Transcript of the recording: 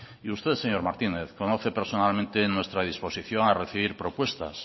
y usted señor martínez conoce personalmente nuestra disposición a recibir propuestas